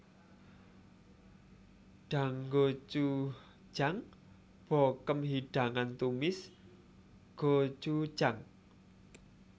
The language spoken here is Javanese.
Danggochujang bokkeum hidangan tumis gochujang